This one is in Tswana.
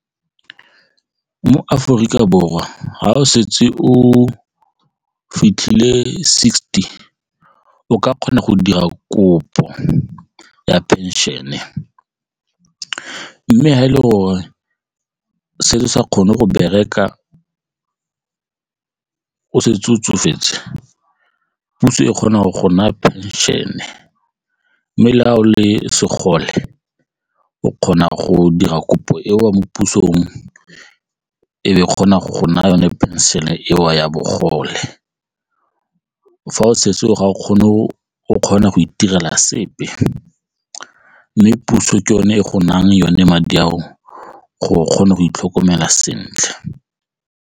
Mo Aforika Borwa ga o setse o fitlhile sixty o ka kgona go dira kopo ya phenšene e mme ga e le gore selo sa kgone go bereka o setse o tsofetse puso e kgona go gola pension-e le segole o kgona go dira kopo eo mo puso e kgona go naya yone phenšene eo ya bogole fa o setse o kgona go itirela sepe mme puso ke yone e go nang yone madi ao gore o kgone go itlhokomela sentle.